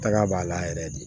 Taga b'a la yɛrɛ de